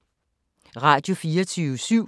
Radio24syv